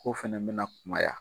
K'o fɛnɛ bɛna kumaya.